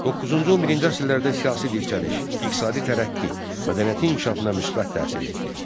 Doqquzuncu-on birinci əsrlərdə siyasi dirçəliş, iqtisadi tərəqqi, mədəniyyətin inkişafına müsbət təsir etdi.